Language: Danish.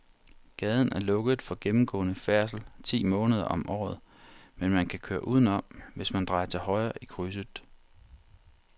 Gaden er lukket for gennemgående færdsel ti måneder om året, men man kan køre udenom, hvis man drejer til højre i krydset.